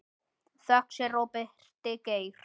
Þökk sé Róberti Geir.